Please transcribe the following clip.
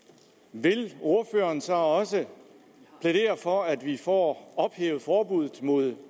vil ordføreren så også plædere for at vi får ophævet forbuddet mod